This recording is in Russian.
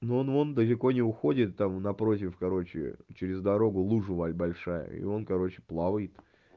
ну он он далеко не уходит там напротив короче через дорогу лужа валя большая и он короче плавает